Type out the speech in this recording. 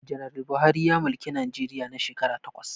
Janar Buhari ya mulki Najeriya na shekara takwas